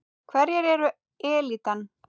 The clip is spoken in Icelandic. Hverjir eru elítan?